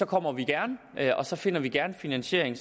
kommer vi gerne og så finder vi gerne finansiering